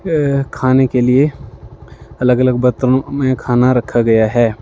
अ खाने के लिए अलग-अलग बर्तनों में खाना रखा गया है।